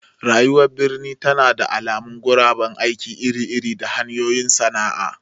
Rayuwar birni tana da alamun guraben aiki iri-iri da hanyoyin sana'a.